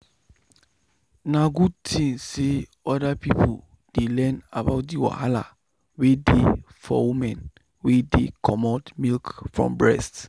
na good thing say other people dey learn about the wahala wey dey for women wey dey comot milk from breast.